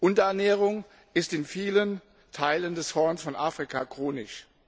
Unterernährung ist in vielen Regionen des Horns von Afrika chronisch.